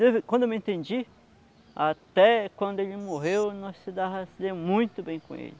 Desde quando eu me entendi, até quando ele morreu, nós se dava se deu muito bem com ele.